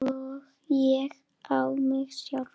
Og ég á mig sjálf!